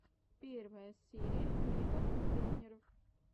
первая серия меган трейнер